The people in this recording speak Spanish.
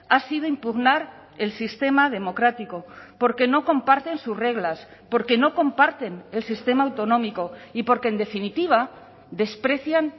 ha sido impugnar el sistema democrático porque no comparten sus reglas porque no comparten el sistema autonómico y porque en definitiva desprecian